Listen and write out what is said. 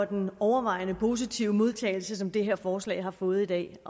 den overvejende positive modtagelse som det her forslag har fået i dag